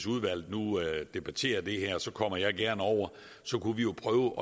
udvalget nu debatterede det her så kommer jeg gerne over og så kunne vi jo prøve